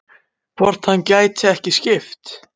Hvort hann gæti ekki skipt?